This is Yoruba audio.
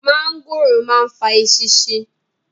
mọ́ńgòrò ma ń fa “ eṣinṣin”